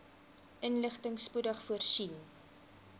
inligting spoedig voorsien